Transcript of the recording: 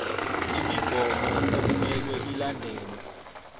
imigomo okumele ilandelwe